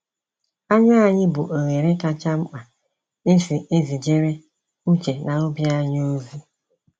Anya anyi bụ oghere kacha mkpa esi ezijere uche na obi anyị ozi.